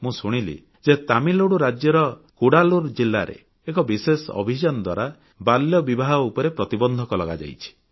ମୁଁ ଶୁଣିଲି ଯେ ତାମିଲନାଡ଼ୁ ରାଜ୍ୟର କୁଡାଲୁର୍ ଜିଲ୍ଲାରେ ଏକ ବିଶେଷ ଅଭିଯାନ ଦ୍ୱାରା ବାଲ୍ୟବିବାହ ଉପରେ ପ୍ରତିବନ୍ଧକ ଲଗାଯାଇଛି